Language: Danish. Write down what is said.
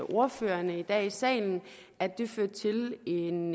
ordførerne i dag i salen at det fører til en